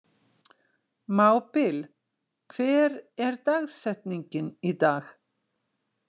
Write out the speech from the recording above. Mábil, hver er dagsetningin í dag?